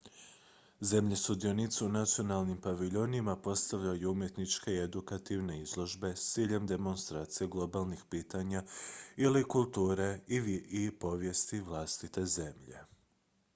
zemlje sudionice u nacionalnim paviljonima postavljaju umjetničke i edukativne izložbe s ciljem demonstracije globalnih pitanja ili kulture i povijesti vlastite zemlje